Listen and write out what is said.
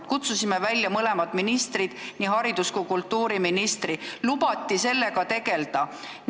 Me kutsusime välja mõlemad ministrid, nii haridus- kui kultuuriministri, lubati sellega tegelda.